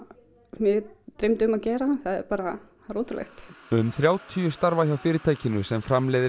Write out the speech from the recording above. mig dreymdi um að gera það er bara ótrúlegt um þrjátíu starfa hjá fyrirtækinu sem framleiðir